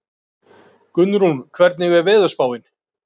Gunnrún, hvernig er veðurspáin?